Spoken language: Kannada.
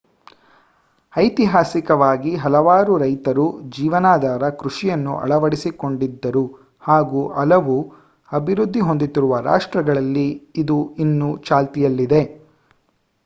ಐತಿಹಾಸಿಕವಾಗಿ ಹಲವಾರು ರೈತರು ಜೀವನಾಧಾರ ಕೃಷಿಯನ್ನು ಅಳವಡಿಸಿಕೊಂಡಿದ್ದರು ಹಾಗು ಹಲವು ಅಭಿವೃದ್ಧಿ ಹೊಂದುತ್ತಿರುವ ರಾಷ್ಟ್ರಗಳಲ್ಲಿ ಇದು ಇನ್ನೂ ಚಾಲ್ತಿಯಲ್ಲಿದೆ